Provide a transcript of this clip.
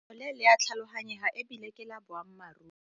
Letshogo le le a tlhaloganyega e bile ke la boammaruri.